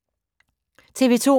TV 2